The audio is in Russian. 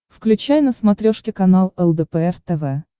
включай на смотрешке канал лдпр тв